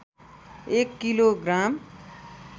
एक kilo gram